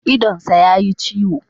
Idonsa ya yi ciwo.